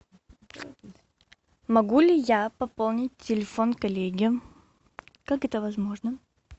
могу ли я пополнить телефон коллеги как это возможно